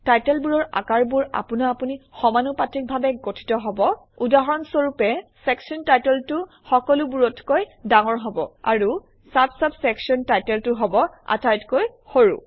টাইটেলবোৰৰ আকাৰবোৰ আপোনা আপুনি সমানুপাতিকভাবে গঠিত হব উদাহৰণস্বৰূপে চেকচন টাইটেলটো সকলোবোৰতকৈ ডাঙৰ হব আৰু চাব্ চাব্ চেকচন টাইটেলটো হব আটাইতকৈ সৰু